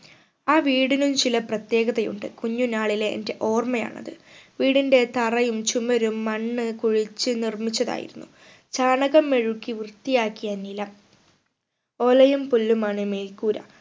ആ വീടുകൾ ചില പ്രത്യേകത ഉണ്ട് കുഞ്ഞുനാളിലെ എന്റെ ഓർമ്മയാണ് അത് വീടിന്റെ തറയും ചുമരും മണ്ണ് കുഴിച്ച് നിർമിച്ചതായിരുന്നു ചാണകം മെഴുകി വൃത്തിയാക്കിയ നില ഓലയും പുല്ലുമാണ് മേൽക്കൂര